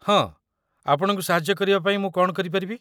ହଁ, ଆପଣଙ୍କୁ ସାହାଯ୍ୟ କରିବା ପାଇଁ ମୁଁ କ'ଣ କରିପାରିବି?